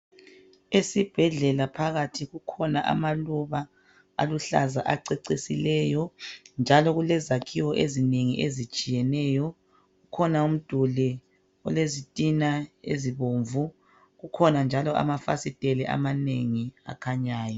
Esibhedlela phakathi kukhona amaluba aluhlaza acecisileyo njalo kulezakhiwo ezinengi ezitshiyeneyo kukhona umduli olezitina ezibomvu kukhona njalo amafasiteli amanengi akhanyayo